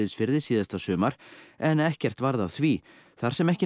síðasta sumar en ekkert varð af því þar sem ekki